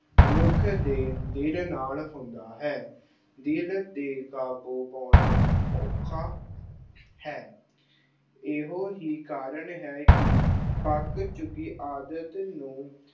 ਮਨੁੱਖ ਦੇ ਦਿਲ ਨਾਲ ਹੁੰਦਾ ਹੈ। ਦਿਲ 'ਤੇ ਕਾਬੂ ਪਾਉਣਾ ਅਮ ਔਖਾ ਹੈ। ਇਹੋ ਹੀ ਕਾਰਨ ਹੈ ਕਿ ਪੱਕ ਚੁੱਕੀ ਆਦਤ ਨੂੰ